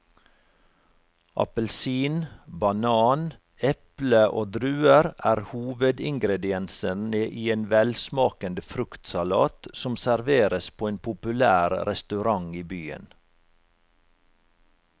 Appelsin, banan, eple og druer er hovedingredienser i en velsmakende fruktsalat som serveres på en populær restaurant i byen.